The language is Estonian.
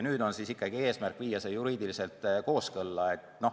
Nüüd on eesmärk viia see ikkagi juriidiliselt kooskõlla.